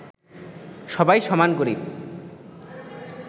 সবাই সমান গরিব